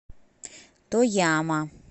тояма